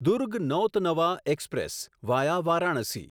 Durg Nautanwa express via Varanasi